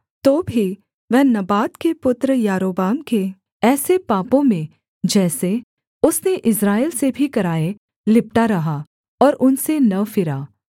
तो भी वह नबात के पुत्र यारोबाम के ऐसे पापों में जैसे उसने इस्राएल से भी कराए लिपटा रहा और उनसे न फिरा